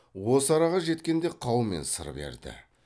осы араға жеткенде қаумен сыр берді